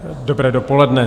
Dobré dopoledne.